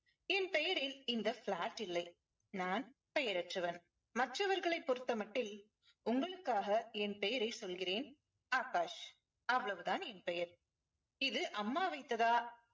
என் பெயரில் இந்த flat இல்லை. நான் பெயரற்றவன் மற்றவர்களை பொறுத்தமட்டில் உங்களுக்காக என் பெயரை சொல்கிறேன் ஆகாஷ். அவ்வளவு தான் என் பெயர். இது அம்மா வைத்ததா